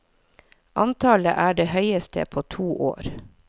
Antallet er det høyeste på to år.